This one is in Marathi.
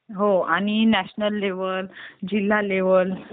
हो आणि नॅशनल लेव्हल, जिल्हा लेव्हल